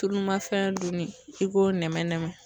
Tulu ma fɛn dun ni i k'o nɛmɛ nɛmɛ